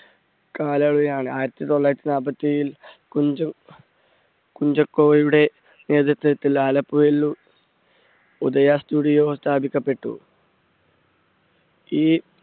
കാലയളവിലാണ്. ആയിരത്തി തൊള്ളായിരത്തി നാല്പത്തേഴിൽ, കുഞ്ച~കുഞ്ചാക്കോയുടെ നേതൃത്വത്തിൽ ആലപ്പുഴയിൽ ഉദയ studio സ്ഥാപിക്കപ്പെട്ടു. ഈ